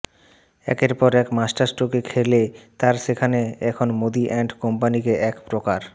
একের পর এক মাস্টারস্ট্রোকে খেলে তারা সেখানে এখন মোদী অ্যান্ড কোম্পানিকে এক প্রকার